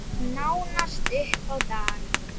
Nánast upp á dag.